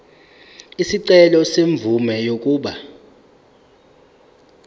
isicelo semvume yokuba